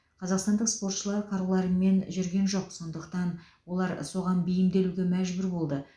қазақстандық спортшылар қаруларымен жүрген жоқ сондықтан олар соған бейімделуге мәжбүр болды